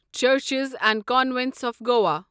churches and convents of Goa